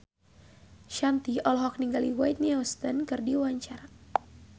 Shanti olohok ningali Whitney Houston keur diwawancara